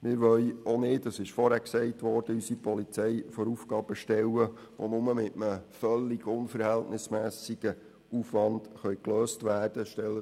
Wir wollen auch nicht unsere Polizei vor Aufgaben stellen, die nur mit einem völlig unverhältnismässigen Aufwand gelöst werden können.